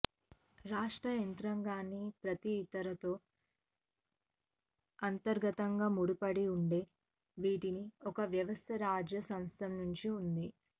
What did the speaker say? రాష్ట్ర యంత్రాంగాన్ని ప్రతి ఇతర తో అంతర్గతంగా ముడిపడి ఉండే వీటిని ఒక వ్యవస్థ రాజ్య సంస్థలనుండి ఉంది